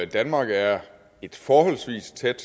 danmark er et forholdsvis tæt